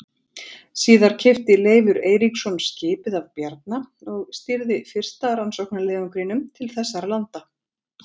Síðar keypti Leifur Eiríksson skipið af Bjarna og stýrði fyrsta rannsóknarleiðangrinum til þessara landa.